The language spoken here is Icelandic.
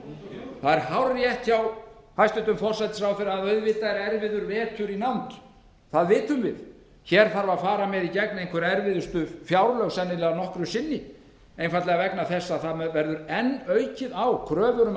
halda það er hárrétt hjá hæstvirtum forsætisráðherra að auðvitað er erfiður vetur í nánd það vitum við hér þurfa að fara í gegn sennilega einhver erfiðustu fjárlög nokkru sinni einfaldlega vegna þess að það verður enn aukið á kröfur um